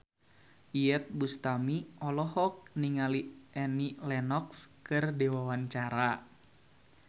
Iyeth Bustami olohok ningali Annie Lenox keur diwawancara